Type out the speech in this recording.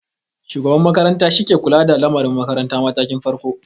Shugaban makaranta shi ke kula da lamari makarantar matakin farko.